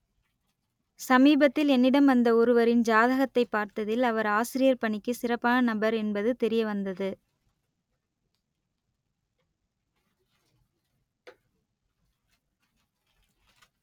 சமீபத்தில் என்னிடம் வந்த ஒருவரின் ஜாதகத்தைப் பார்த்ததில் அவர் ஆசிரியர் பணிக்கு சிறப்பான நபர் என்பது தெரியவந்தது